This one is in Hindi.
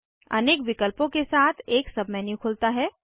अनेक विकल्पों के साथ एक सब मेन्यू खुलता है